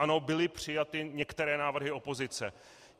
Ano, byly přijaty některé návrhy opozice.